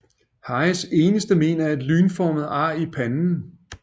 Harrys eneste mén er et lynformet ar i panden